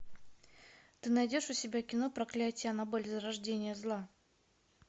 ты найдешь у себя кино проклятие аннабель зарождение зла